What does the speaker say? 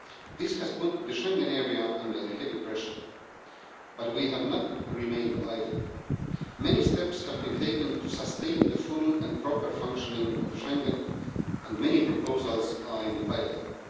This has put the Schengen area under heavy pressure, but we have not remained idle. Many steps have been taken to sustain the full and proper functioning of Schengen, and many proposals are in the pipeline.